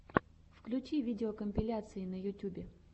включи видеокомпиляции на ютюбе